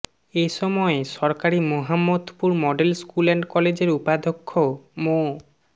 এ সময় সরকারি Mohammadpur model school and কলেজের উপাধ্যক্ষ মো